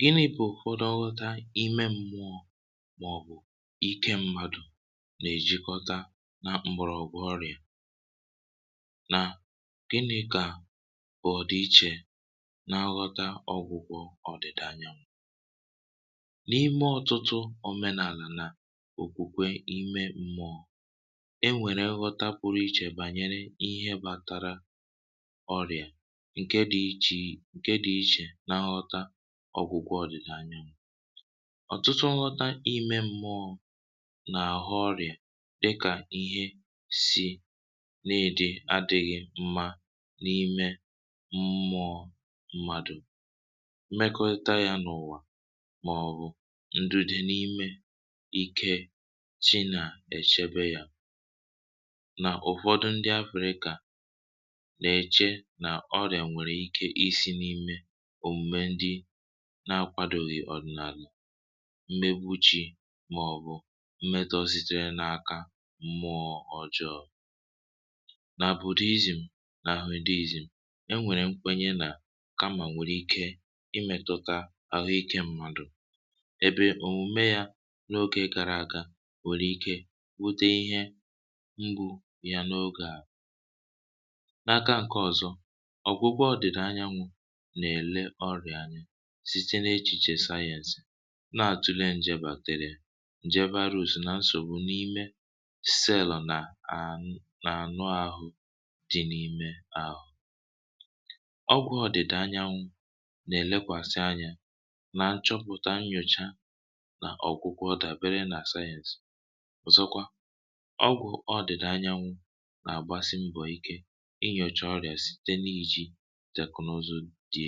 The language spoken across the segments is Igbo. Gịnị̇ bụ̀ òkùdọ̀ ọghọ̀ta ime mmụọ̇ maọ̀bụ̀ ike mmadụ̀ na-èjikọta na mbụrọ̇ ọgwụ̀ ọrịa na gịnị̇ kà bụ̀ ọ̀dịiche n’aghọ̀ta ọgwụgwọ ȯdị̀da anyanwụ̇ um? N’ime ọtụtụ òmenàlà na òkwùkwè ime mmụọ̇ e nwèrè nghọ̀ta pụrụ iche bànyere ihe bàtara ǹke dị̇ iche um na nghọ̀ta ọ̀gwụgwọ ọdị̀da anyanwụ̇ dị iche. Ọtụtụ nghọ̀ta ime mmụọ̇ na-ahụ̀ ọrịa dị ka ihe si na adịghị mma n’ime mmụọ mmadụ mmetọ ya n’ụwa, ma ọ bụ ndìde n’ime ike chi na-echebe ya. Ụ̀fọdụ ndị afị̀rị̀à na-eche na ọrịa nwèrè ike òme ndị na-akwàdòghị ọ̀dị̀nàlà mgbamegbuchì maọ̀bụ̀ mmetọ sitere n’aka mụọ̇ ọjọọ̇. N’ihi ya um ọrịa na-abụ̀karị̀ ihe na-enye nsogbu n’ime ezinụlọ maọ̀bụ̀ obodo. N’aka nke ọ̀zọ, nghọ̀ta ọrịa site n’echiche sayensị na-ele ọrịa dịka ọrịa bacteria, njè, maọ̀bụ̀ nsògbu dị n’ime sẹ́lọ̀ na anụ ahụ mmadụ. Ọgwụ ọdị̀da anyanwụ̇ na-elekwasị anya n’ịchọpụ̀ta, nnyòcha, na nyocha nke sayensị. Ọ na-agbasikwa mbọ ịnyòcha ọrịa site n’iji MRI, X-ray, nyocha ọbara, na teknụzụ ndị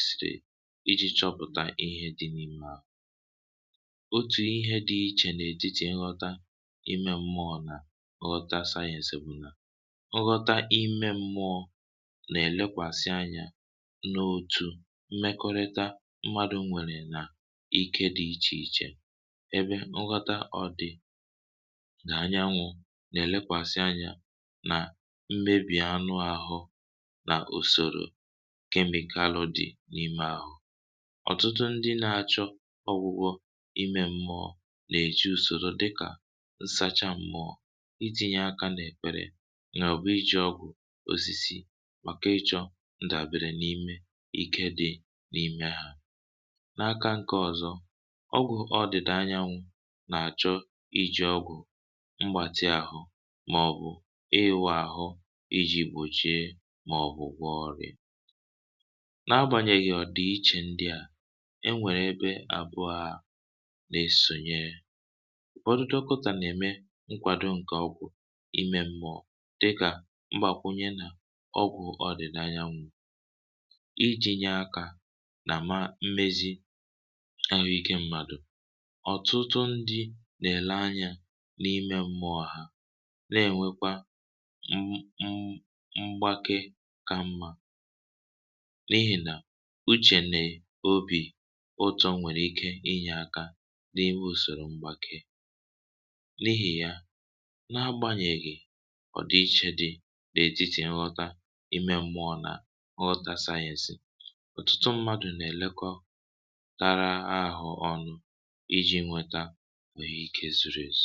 ọzọ iji chọpụ̀ta ihe dị n’ahụ̀. Otu ihe dị iche n’etiti nghọ̀ta ime mmụọ̇ na nghọ̀ta sayensị bụ na nghọ̀ta ime mmụọ̇ na-elekwasị anya n’òtù mmekọrịta mmadụ, nkwenkwe na ike dị iche iche um ebe nghọ̀ta sayensị na-elekwasị anya n’usòrò kemịkalụ na anụ ahụ mmadụ. Ọ̀tụtụ ndị na-achọ ọgwụgwọ ime mmụọ̇ na-eji usoro dịka nsachapụ mụọ̇, ekpere, emume ịgba mmiri nsọ, maọ̀bụ̀ ijì ọgwụ̀ osisi. Ụzọ ndị a bụ maka ịchọ nkwado n’ime ike dị n’ime mmadụ. N’aka nke ọzọ um ọgwụ ọdị̀da anyanwụ̇ na-eji ọgwụ mgbatị̀ ahụ, ịwa ahụ, na ọgwụ mgbake. N’agbanyeghị ọdịiche dị n’etiti nghọ̀ta ime mmụọ̇ na nghọ̀ta sayensị ọtụtụ ndị na-elekọta ahụ ike na-atụ aro ka ejikọtara ha ọnụ. Nke a bụ n’ihi na nghọ̀ta ime mmụọ̇ nwere ike inye ntụkwasị obi na ume ime mmụọ̇, nke na-enyere aka na mgbake nke ọma.